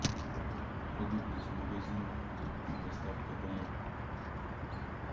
продукты с магазина с доставкой домой